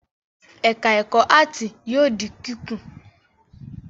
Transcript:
Ẹ̀ka-ẹ̀kọ́ áátì yóò di kíkùn.